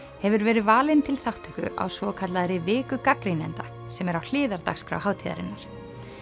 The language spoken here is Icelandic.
hefur verið valin til þátttöku á svokallaðri viku gagnrýnenda sem er á hliðardagskrá hátíðarinnar